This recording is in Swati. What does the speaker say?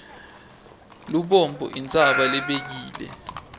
lubombo intsaba lebekile